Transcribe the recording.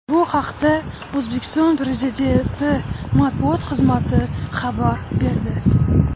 Bu haqda O‘zbekiston Prezidenti matbuot xizmati xabar berdi.